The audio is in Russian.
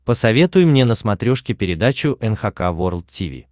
посоветуй мне на смотрешке передачу эн эйч кей волд ти ви